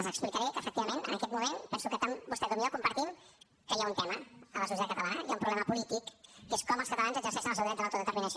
els explicaré que efectivament en aquest moment penso que tant vostè com jo compartim que hi ha un tema a la societat catalana hi ha un problema polític que és com els catalans exerceixen el seu dret de l’autodeterminació